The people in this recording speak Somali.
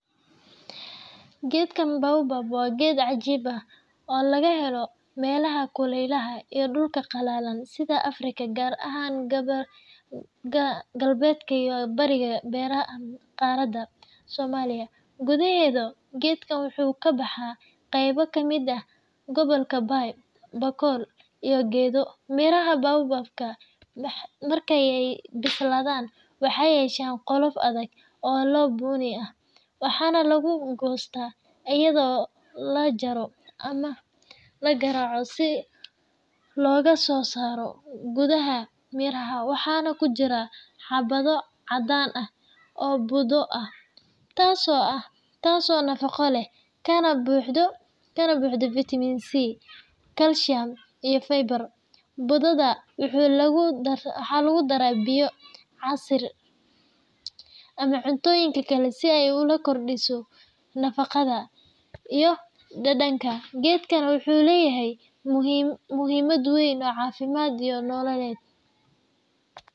Geedka Baobab waa geed cajiib ah oo laga helo meelaha kulaylaha iyo dhulka qallalan sida Afrika, gaar ahaan galbeedka iyo bariga qaaradda. Soomaaliya gudaheeda, geedkan wuxuu ka baxaa qaybo ka mid ah gobollada Bay, Bakool, iyo Gedo. Miraha Baobab-ka marka ay bislaadaan waxay yeeshaan qolof adag oo bunni ah, waxaana lagu goostaa iyadoo la jaro ama la garaaco si looga soo saaro. Gudaha miraha waxaa ku jira xabbo caddaan ah oo budo ah, taas oo nafaqo leh kana buuxda fitamiin C, kalsiyum, iyo fiber. Budada waxaa lagu daraa biyo, casiir, ama cuntooyin kale si ay u kordhiso nafaqada iyo dhadhanka. Geedkan wuxuu leeyahay muhiimad weyn oo caafimaad iyo nololeedba.